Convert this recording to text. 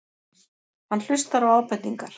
Hann hlustar á ábendingar.